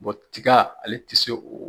tiga ale tɛ se o